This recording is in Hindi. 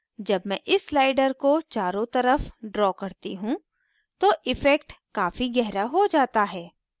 जब मैं इस slider को चारों तरफ draw करती हूँ तो इफ़ेक्ट काफी गहरा हो जाता है